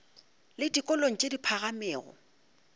le dikolong tše di phagamego